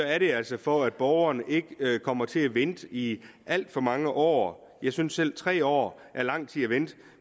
er det altså for at borgerne ikke kommer til at vente i alt for mange år jeg synes selv at tre år er lang tid at vente